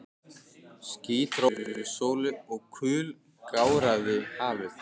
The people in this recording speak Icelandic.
Ský dró fyrir sólu og kul gáraði hafið.